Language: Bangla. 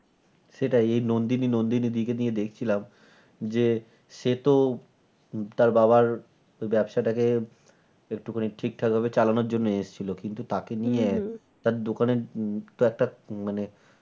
সেটাই নন্দিনী নন্দিনী দি কে দিয়ে দেখছিলাম যে সে তো তার বাবার ব্যবসা টাকে একটুখানি ঠিকঠাক ভাবে চালানোর জন্য এসছিল কিন্তু তাকে নিয়ে তার দোকানের তো একটা মানে